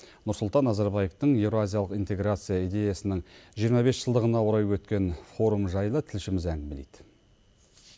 нұрсұлтан назарбаевтың еуразиялық интеграция идеясының жиырма бес жылдығына орай өткен форум жайлы тілшіміз әңгімелейді